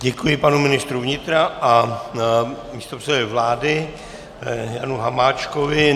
Děkuji panu ministru vnitra a místopředsedovi vlády Janu Hamáčkovi.